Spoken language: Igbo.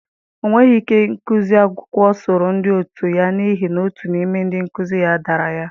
Ọ nweghị ike ịgụsi akwụkwọ soro ndị otu ya n'ihi na otu n'ime ndị nkuzi ya dara ya.